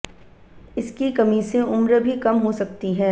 इसकी कमी से उम्र भी कम हो सकती है